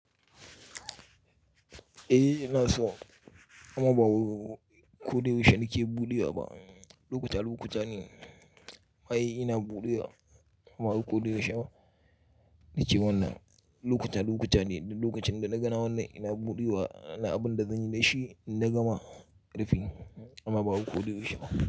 Eh ina so amma ba koyaushe nake buɗewa ba. Lokuta lokuta ne ai ina buɗewa amma ba koyaushe ba nake wannan. Lokuta lokuta ne, da lokacin da na ga wannan ina buɗewa na abin da zan yi da shi na gama rufin amma ba koyaushe ba.